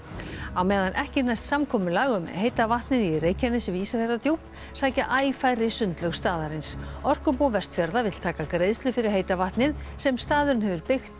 á meðan ekki næst samkomulag um heita vatnið í Reykjanesi við Ísafjarðardjúp sækja æ færri sundlaug staðarins orkubú Vestfjarða vill taka greiðslu fyrir heita vatnið sem staðurinn hefur byggt